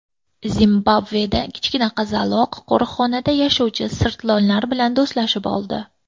Zimbabveda kichkina qizaloq qo‘riqxonada yashovchi sirtlonlar bilan do‘stlashib oldi.